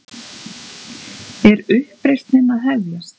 Er uppreisnin að hefjast?